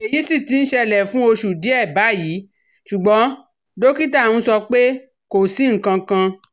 Eyí si ti ń ṣẹlẹ̀ fún oṣù díẹ̀ báyìí ṣùgbọ́n dókítà nso pé kò sí nǹkankan